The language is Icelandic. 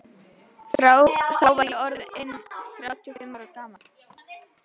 Þá var ég orð inn þrjátíu og fimm ára gamall.